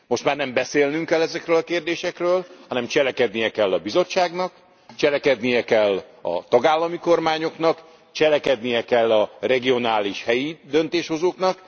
Most már nem beszélnünk kell ezekről a kérdésekről, hanem cselekednie kell a Bizottságnak, cselekedniük kell a tagállami kormányoknak, cselekedniük kell a regionális helyi döntéshozóknak.